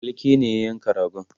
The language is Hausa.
falke ne ya yanka ragon